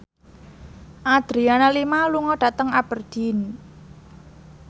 Adriana Lima lunga dhateng Aberdeen